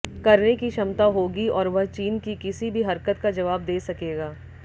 करने की क्षमता होगी और वह चीन की किसी भी हरकत का जवाब दे सकेगा